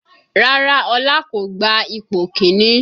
Rárá Ọlá kò gba ipò kìíní